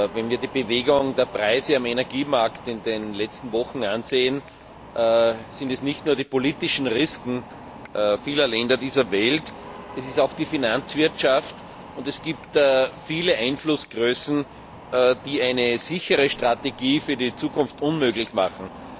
Wenn wir uns die Bewegung der Preise am Energiemarkt in den letzten Wochen ansehen, sind es nicht nur die politischen Risiken vieler Länder dieser Welt, sondern auch die Finanzwirtschaft und viele weitere Einflussgrößen, die eine sichere Strategie für die Zukunft unmöglich machen.